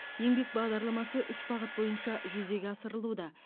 еңбек бағдарламасы үш бағыт бойынша жүзеге асырылуда